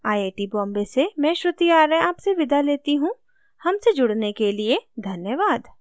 I I T Bombay से मैं श्रुति आर्य आपसे विदा लेती हूँ हमसे जुड़ने के लिए धन्यवाद